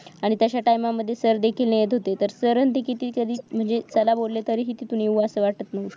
आणि तश्या time मध्ये सर देखील नेत होते तर सर किती कधी देखील चला बोलले तरी मस्त वाटायचं